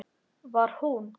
Var hún?!